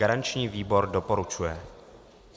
Garanční výbor doporučuje.